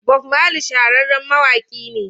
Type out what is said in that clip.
Bob Marley shahararren mawaƙi ne.